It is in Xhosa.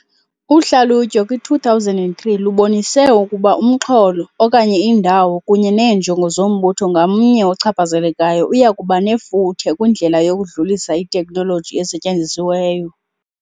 Uhlalutyo kwi-2003 lubonise ukuba umxholo, okanye indawo, kunye neenjongo zombutho ngamnye ochaphazelekayo uya kuba nefuthe kwindlela yokudlulisa iteknoloji esetyenzisiweyo.